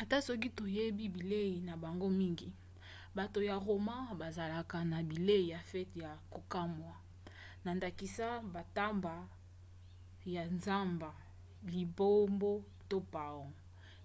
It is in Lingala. ata soki toyebi bilei na bango mingi bato ya roma bazalaka na bilei ya fete ya kokamwa na ndakisa bantaba ya zamba lipombo to paon